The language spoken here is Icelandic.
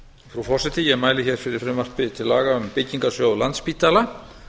frú forseti ég mæli hér fyrir frumvarpi til laga um byggingarsjóð landspítala